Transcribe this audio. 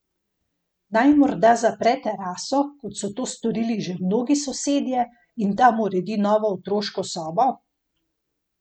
Naj morda zapre teraso, kot so to storili že mnogi sosedje, in tam uredi novo otroško sobo?